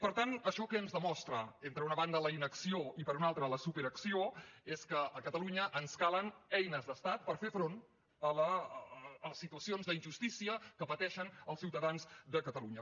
per tant això que ens demostra per una banda la inacció i per una altra la superacció és que a catalunya ens calen eines d’estat per fer front a les situacions d’injustícia que pateixen els ciutadans de catalunya